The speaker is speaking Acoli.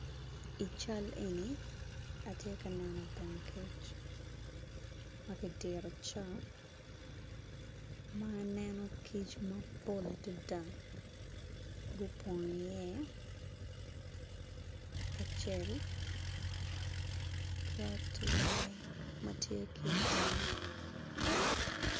I cal eni atye ka neno bong kic makidito cok ma aneno kic mapol adada gupong i ye kacel ki ature matye ki itenge.